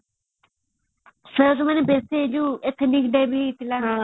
ବେଶୀ ଯୋଉ athlink ଦେବୀ ହେଇଥିଲା